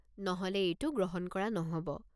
নহ'লে এইটো গ্ৰহণ কৰা নহ'ব।